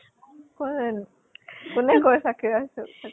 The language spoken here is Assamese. কোন জনী? কোনে কয় চাকিৰা আছে বুলি চাকিৰা